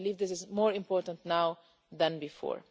I believe this is more important now than before.